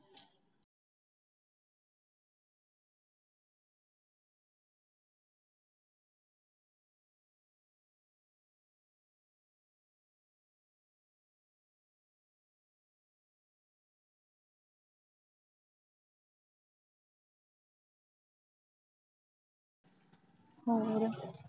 ਹੋਰ